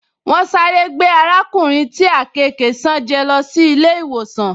Wọ́n sáré gbé arákùnrin tí àkekèé ṣán jẹ́ lọ sí ilé-ìwòsàn